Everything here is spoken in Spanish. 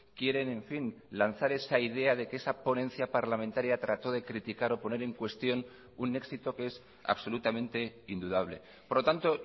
quieren en fin lanzar esa idea de que esa ponencia parlamentaria trató de criticar o poner en cuestión un éxito que es absolutamente indudable por lo tanto